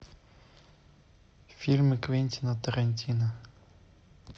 фильмы квентина тарантино